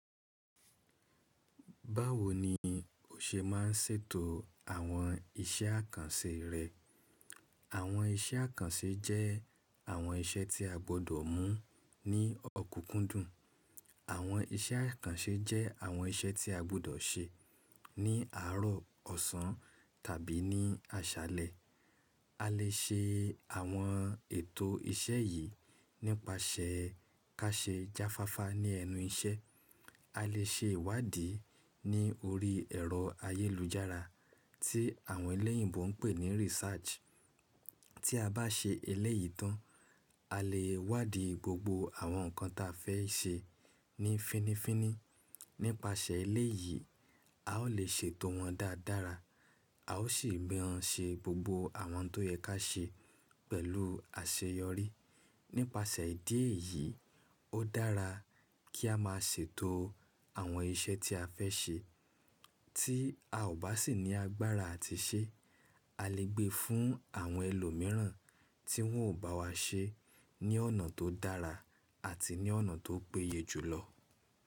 Báwo ni o ṣe ma ń ṣètò àwọn iṣẹ́ àkànṣe rẹ? Àwọn iṣẹ́ àkànṣe jẹ́ àwọn iṣẹ́ tí a gbọ́dọ̀ mú ní ọ̀kúkúndùn. Àwọn iṣẹ́ àkànṣe jẹ́ àwọn iṣẹ́ tí a gbọ́dọ̀ ṣe ní àárọ̀, ọ̀sán tàbí ní àṣálẹ́. A lè ṣe àwọn ètò iṣẹ́ yìí nípasẹ̀ ká ṣe jáfáfá ní ẹnu iṣẹ́. A lè ṣe ìwádìí ní orí ẹ̀rọ ayélujára tí àwọn ẹlẹ́yìnbo ń pè ní research. Tí a bá ṣe eléyìí tán, a lè wádìí gbogbo àwọn nǹkan ta fẹ́ ṣe ní fínifíní. Nípasẹ̀ eléyìí, a ó lè ṣètò wọn dáadára, a ó sì gbéra ṣe gbogbo àwọn tó yẹ ká ṣe pẹ̀lú àṣeyọrí. Nípasẹ̀ ìdí èyí, ó dára kí a máa ṣètò àwọn iṣẹ́ tí a fẹ́ ṣe tí a ò bá sì ní agbára àti ṣe. A lè gbé fún àwọn ẹlòmíràn tí wọn ó bá wá ṣe ní ọ̀nà tó dára àti ní ọ̀nà tó péye jùlọ.